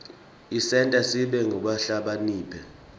isenta sibe ngulabahlakaniphile